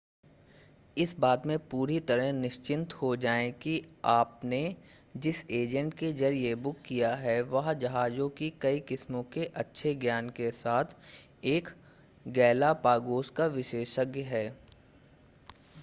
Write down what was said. इस बात में पूरी तरह निश्चिंत हो जाएं कि आपने जिस एजेंट के जरिए बुक किया है वह जहाजों की कई किस्मों के अच्छे ज्ञान के साथ एक गैलापागोस का विशेषज्ञ है